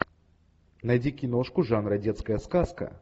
найди киношку жанра детская сказка